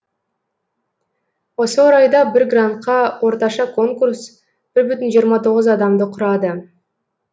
осы орайда бір грантқа орташа конкурс бір бүтін жиырма тоғыз адамды құрады